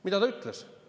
Mida ta ütles?